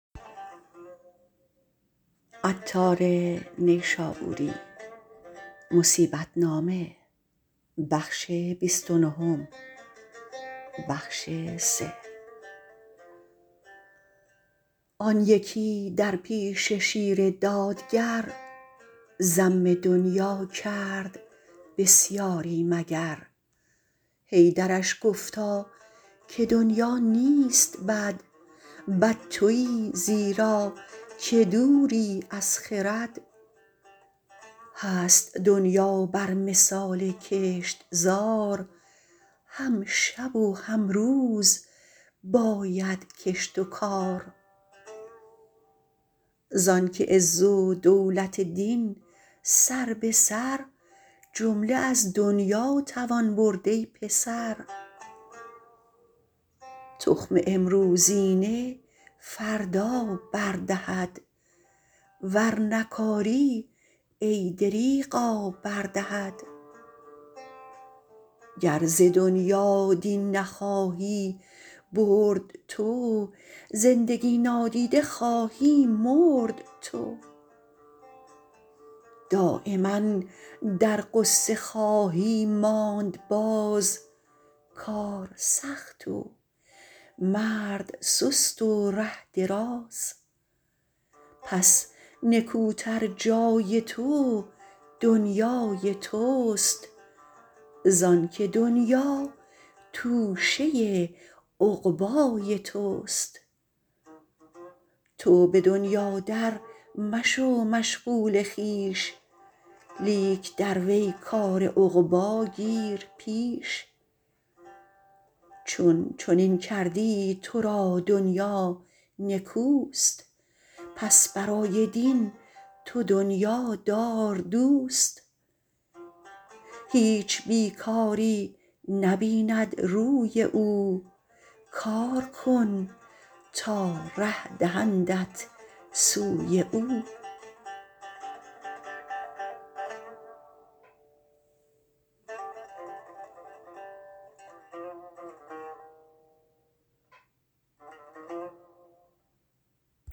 آن یکی در پیش شیر دادگر ذم دنیا کرد بسیاری مگر حیدرش گفتا که دنیا نیست بد بد تویی زیرا که دوری از خرد هست دنیا بر مثال کشتزار هم شب و هم روز باید کشت و کار زانکه عز و دولت دین سر بسر جمله از دنیاتوان برد ای پسر تخم امروزینه فردا بر دهد ور نکاری ای دریغا بر دهد گر ز دنیا دین نخواهی برد تو زندگی نادیده خواهی مرد تو دایما در غصه خواهی ماند باز کار سخت و مرد سست و ره دراز پس نکوتر جای تو دنیای تست زانکه دنیا توشه عقبای تست تو بدنیا در مشو مشغول خویش لیک در وی کار عقبی گیر پیش چون چنین کردی ترا دنیا نکوست پس برای دین تو دنیا دار دوست هیچ بیکاری نه بیند روی او کار کن تا ره دهندت سوی او